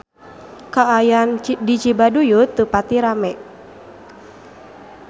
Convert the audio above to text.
Kaayaan di Cibaduyut teu pati rame